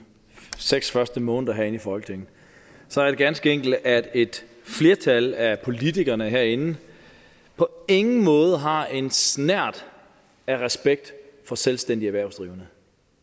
seks første måneder herinde i folketinget så er det ganske enkelt at et flertal af politikerne herinde på ingen måde har en snert af respekt for selvstændige erhvervsdrivende